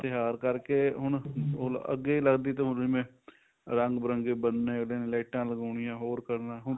ਤਿਉਹਾਰ ਕਰਕੇ ਹੁਣ ਅੱਗੇ ਲੱਗਦੀ ਤਾਂ ਹੋਣੀ ਜਿਵੇਂ